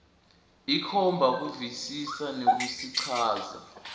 ikhomba kuvisisa nekusichaza